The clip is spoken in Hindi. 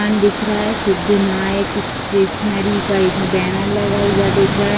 दुकान दिख रहा है सिद्ध नायक स्टेशनरी का एक बैनर लगा हुआ दिख रहा है।